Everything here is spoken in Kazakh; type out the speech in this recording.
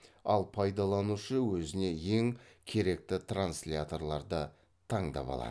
ал пайдаланушы өзіне ең керекті трансяторларды таңдап алады